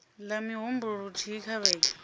la mihumbulo luthihi kha vhege